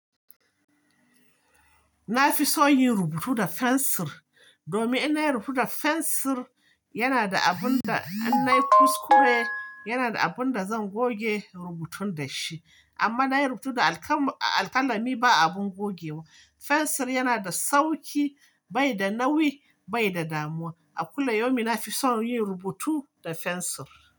Na fi son yin rubutu da fensir, domin in na yi rubutu da fensir, yana da abun da in na yi kuskure, yana da abun da zan goge rubutun da shi. Amma na yi rubutu da alƙalami, ba abun gogewa. Fensir yana da sauki, bai da nauyi, bai da damuwa. A kullum yaumin na fi son yin rubutu da fensir.